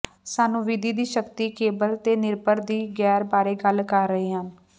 ਸਾਨੂੰ ਵਿਧੀ ਦੀ ਸ਼ਕਤੀ ਕੇਬਲ ਤੇਨਿਰਭਰ ਦੀ ਗੈਰ ਬਾਰੇ ਗੱਲ ਕਰ ਰਹੇ ਹਨ